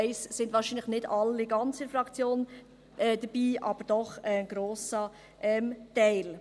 Da sind wahrscheinlich nicht ganz alle von der Fraktion dabei, aber doch ein grosser Teil.